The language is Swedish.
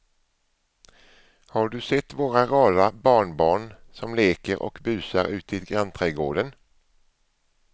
Har du sett våra rara barnbarn som leker och busar ute i grannträdgården!